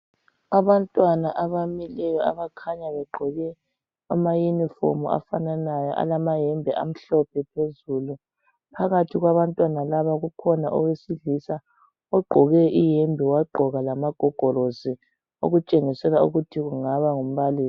Abantwana abamileyo abakhanya begqoke amayunifomu afanananyo alamayembe amhlophe phezulu. Phakathi kwabantwana laba kukhona owesilisa ogqoke iyembe wagqoka lamagogorosi okutshengisela ukuthi kungaba ngumbalisi.